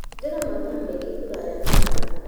Hũthĩra mathaa maingĩ kũraya na andũ